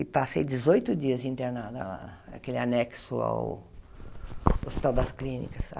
E passei dezoito dias internada lá, aquele anexo Hospital das Clínicas.